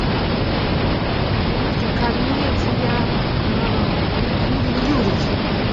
комедия никулин юрий